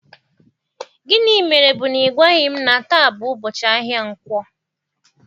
Gịnị mere bu na ị gwaghị m na taa bụ ụbọchị ahịa nkwo?